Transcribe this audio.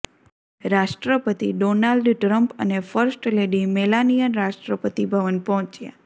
રાષ્ટ્રપતિ Donald Trump અને first lady Melania Rashtrapati Bhavan પહોંચ્યા